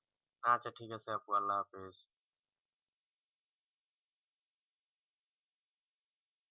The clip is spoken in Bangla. আচ্ছা ঠিক আছে আপু আল্লাহ হাপিস